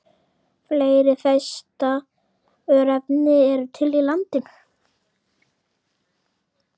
Fleiri Þeista-örnefni eru til í landinu.